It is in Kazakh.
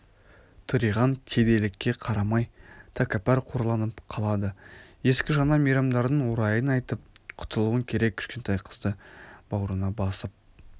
тыриған кедейлікке қарамай тәкаппар қорланып қалады ескі-жаңа мейрамдардың орайын айтып құтылуың керек кішкентай қызды баурына басып